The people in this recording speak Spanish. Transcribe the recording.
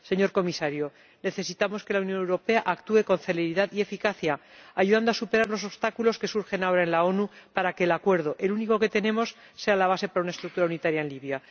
Señor Comisario, necesitamos que la Unión Europea actúe con celeridad y eficacia, ayudando a superar los obstáculos que surgen ahora en las Naciones Unidas, para que el acuerdo —el único que tenemos— sea la base para una estructura unitaria en Libia.